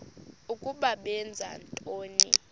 ukuba benza ntoni